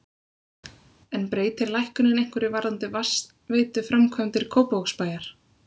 En breytir lækkunin einhverju varðandi vatnsveituframkvæmdir Kópavogsbæjar?